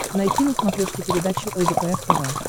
найти на смотрешке передачу лдпр тв